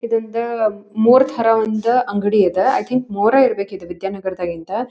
ಇದರಿಂದ ಮೋರ್ ತರ ಒಂದು ಅಂಗಡಿ ಇದ ಐಥಿಂಕ್ ಮೊರೆ ಏ ಇರ್ಬೇಕು ಇದು ವಿದ್ಯಾನಗರದಾಗಿಂದ.